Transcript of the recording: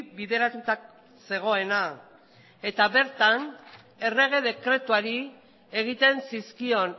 bideratuta zegoena eta bertan errege dekretuari egiten zizkion